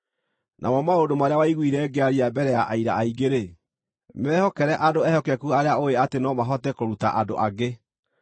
Namo maũndũ marĩa waiguire ngĩaria mbere ya aira aingĩ-rĩ, mehokere andũ ehokeku arĩa ũũĩ atĩ no mahote kũruta andũ angĩ.